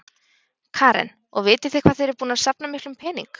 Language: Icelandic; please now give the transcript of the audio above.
Karen: Og vitið þið hvað þið eruð búnar að safna miklum pening?